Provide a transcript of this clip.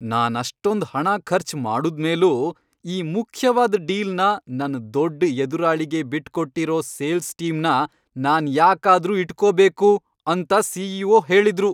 ನಾನಷ್ಟೊಂದ್ ಹಣ ಖರ್ಚ್ ಮಾಡುದ್ಮೇಲೂ ಈ ಮುಖ್ಯವಾದ್ ಡೀಲ್ನ ನನ್ ದೊಡ್ಡ್ ಎದುರಾಳಿಗೇ ಬಿಟ್ಕೊಟ್ಟಿರೋ ಸೇಲ್ಸ್ ಟೀಮ್ನ ನಾನ್ ಯಾಕಾದ್ರೂ ಇಟ್ಕೋಬೇಕು? ಅಂತ ಸಿ.ಇ.ಒ. ಹೇಳುದ್ರು.